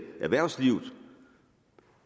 erhvervsliv